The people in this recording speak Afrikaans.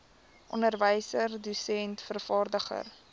onderwyser dosent vervaardiger